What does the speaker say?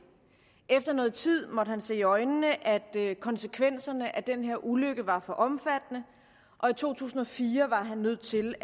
efter noget tid måtte han se i øjnene at konsekvenserne af den her ulykke var for omfattende og i to tusind og fire var han nødt til